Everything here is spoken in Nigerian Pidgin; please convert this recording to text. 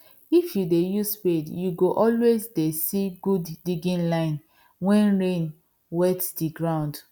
if you dey use spade you go always dey see good digging lines wen rain wet the ground